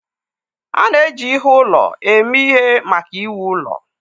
A na-eji ihe ụlọ eme ihe maka iwu ụlọ